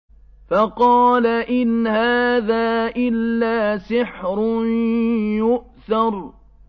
فَقَالَ إِنْ هَٰذَا إِلَّا سِحْرٌ يُؤْثَرُ